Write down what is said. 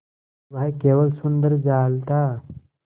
वह केवल सुंदर जाल था